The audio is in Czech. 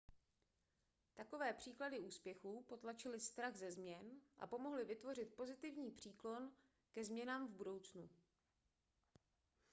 takové příklady úspěchu potlačily strach ze změn a pomohly vytvořit pozitivní příklon ke změnám v budoucnu